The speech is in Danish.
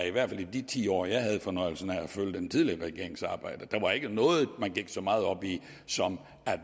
i hvert fald i de ti år jeg havde fornøjelsen af at følge den tidligere regerings arbejde der var ikke noget man gik så meget op i som